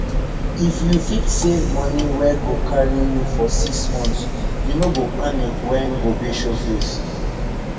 if you fit save money wey go carry you for six months you no go panic when gobe show face